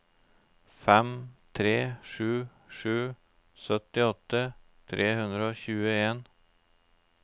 fem tre sju sju syttiåtte tre hundre og tjueen